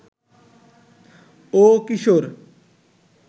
ও কিশোর